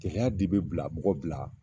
Cɛya de bɛ bila mɔgɔ bila